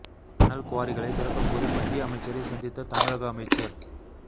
மணல் குவாரிகளை திறக்க கோரி மத்திய அமைச்சரை சந்தித்த தமிழக அமைச்சர்